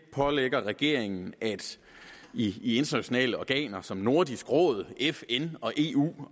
pålægger regeringen i internationale organer som nordisk råd fn og eu